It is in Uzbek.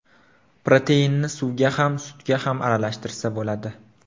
Proteinni suvga ham, sutga ham aralashtirsa bo‘ladi.